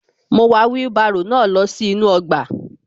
Mo wà wheelbarrow náà lọ sí inú ọgbà